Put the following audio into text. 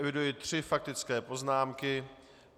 Eviduji tři faktické poznámky.